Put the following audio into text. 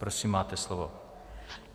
Prosím, máte slovo.